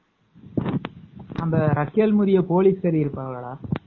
அந்த போலிஸ் இருப்பாளாடா